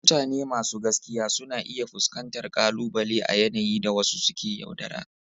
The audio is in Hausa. Mutane masu gaskiya suna iya fuskantar ƙalubale a yanayi da wasu suke yaudara.